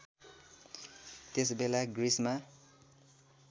त्यसबेला ग्रिसमा